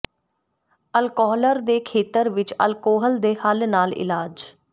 ਅਲਕੋਹਲਰ ਦੇ ਖੇਤਰ ਵਿਚ ਅਲਕੋਹਲ ਦੇ ਹੱਲ ਨਾਲ ਇਲਾਜ